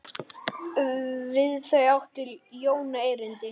Við þau átti Jón erindi.